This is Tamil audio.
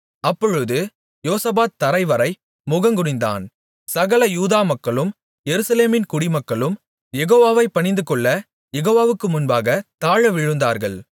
அப்பொழுது யோசபாத் தரைவரை முகங்குனிந்தான் சகல யூதா மக்களும் எருசலேமின் குடிமக்களும் யெகோவாவைப் பணிந்துகொள்ளக் யெகோவாவுக்கு முன்பாகத் தாழவிழுந்தார்கள்